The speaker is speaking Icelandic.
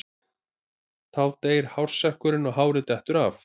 Þá deyr hársekkurinn og hárið dettur af.